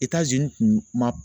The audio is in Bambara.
tun ma